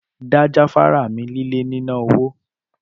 Da jafara mi lile mina owo!